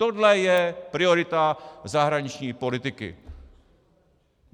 Tohle je priorita zahraniční politiky.